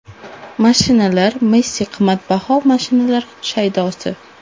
Mashinalar Messi qimmatbaho mashinalar shaydosi.